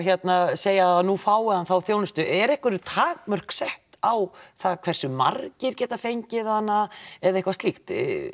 segja að nú fái hann þá þjónustu er einhver takmörk sett á það hversu margir geta fengið hana eða eitthvað slíkt